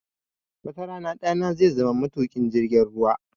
Wata rana ɗana zai zama matuƙin jirgin ruwa